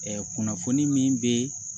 kunnafoni min be